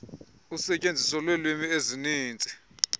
usetyenziso lweelwimi ezininzi